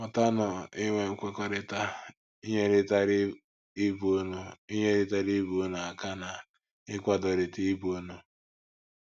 Mụtanụ inwe nkwekọrịta, inyerịtara ibe unu inyerịtara ibe unu aka na ịkwadorịta ibe unu.